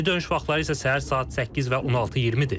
Geri dönüş vaxtları isə səhər saat 8 və 16:20-dir.